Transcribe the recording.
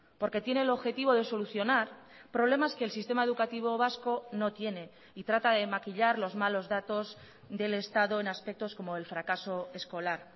porque tiene el objetivo de solucionar problemas que el sistema educativo vasco no tiene y trata de maquillar los malos datos del estado en aspectos como el fracaso escolar